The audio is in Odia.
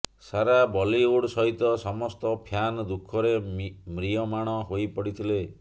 ସାରା ବଲିଉଡ ସହିତ ସମସ୍ତ ଫ୍ୟାନ ଦୁଃଖରେ ମ୍ରିୟମାଣ ହୋଇପଡିଥିଲେ